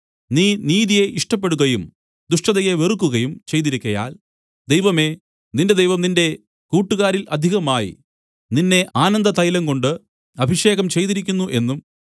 നീ നീതിയെ ഇഷ്ടപ്പെടുകയും ദുഷ്ടതയെ വെറുക്കുകയും ചെയ്തിരിക്കയാൽ ദൈവമേ നിന്റെ ദൈവം നിന്റെ കൂട്ടുകാരിൽ അധികമായി നിന്നെ ആനന്ദതൈലം കൊണ്ട് അഭിഷേകം ചെയ്തിരിക്കുന്നു എന്നും